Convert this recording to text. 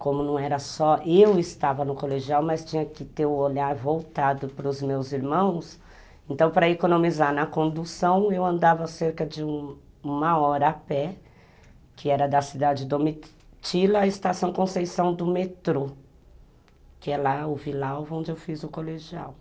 Como não era só eu estava no colegial, mas tinha que ter o olhar voltado para os meus irmãos, então, para economizar na condução, eu andava cerca de uma hora a pé, que era da cidade de Domitila à Estação Conceição do metrô, que é o vilal onde eu fiz o colegial.